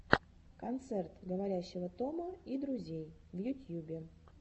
концерт говорящего тома и друзей в ютьюбе